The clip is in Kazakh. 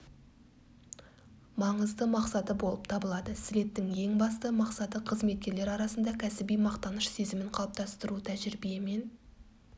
маңызды мақсаты болып табылады слеттің ең басты мақсаты қызметкерлер арасында кәсіби мақтаныш сезімін қалыптастыру тәжірибемен